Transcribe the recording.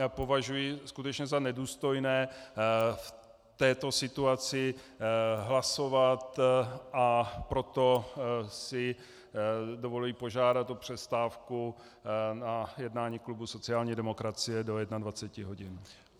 Já považuji skutečně za nedůstojné v této situaci hlasovat, a proto si dovoluji požádat o přestávku na jednání klubu sociální demokracie do 21. hodin.